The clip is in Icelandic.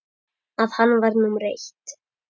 að hann væri númer eitt.